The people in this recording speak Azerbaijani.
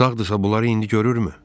Sağdırsa bunları indi görürmü?